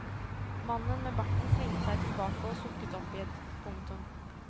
Mannen med barten svingte seg tilbake og sukket oppgitt. punktum